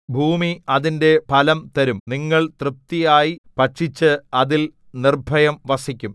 ഭൂമി അതിന്റെ ഫലം തരും നിങ്ങൾ തൃപ്തിയായി ഭക്ഷിച്ച് അതിൽ നിർഭയം വസിക്കും